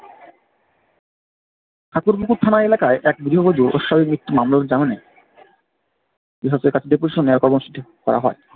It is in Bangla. ঠাকুরপুকুর থানা এলাকায় এক গৃহবধূ অস্বাভাবিক মৃত্যুর মামলা ঠিক করা হয়।